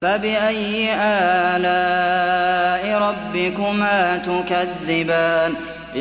فَبِأَيِّ آلَاءِ رَبِّكُمَا تُكَذِّبَانِ